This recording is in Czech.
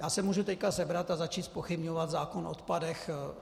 Já se můžu teď sebrat a začít zpochybňovat zákon o odpadech.